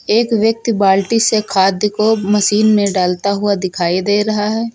एक व्यक्त बाल्टी से खाद्य को मशीन में डालता हुआ दिखाई दे रहा है।